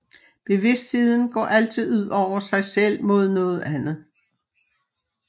Bevidstheden går altid ud over sig selv mod noget andet